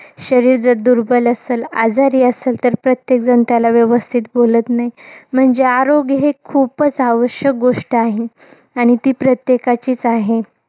शरीर जर दुर्बल असल, आजारी असल तर प्रत्येकजण त्याला व्यवस्थित बोलत नाही. म्हणजे आरोग्य हे खूपच आवश्यक गोष्ट आहे. आणि ती प्रत्येकाचीच आहे.